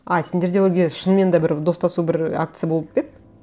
а сендерде ол кезде шынымен де бір достасу бір акция болып па еді